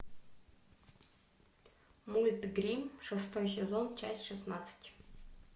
мульт гримм шестой сезон часть шестнадцать